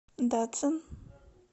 дацин